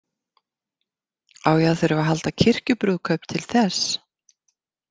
Á ég að þurfa að halda kirkjubrúðkaup til þess?